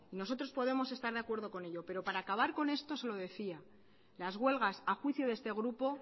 nosotros podemos estar de acuerdo con ello pero para acabar con esto se lo decía las huelgas a juicio de este grupo